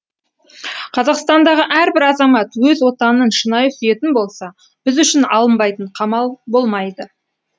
қазақстандағы әрбір азамат өз отанын шынайы сүйетін болса біз үшін алынбайтын қамал болмайды